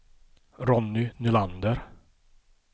Ronny Nylander